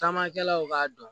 Taamakɛlaw k'a dɔn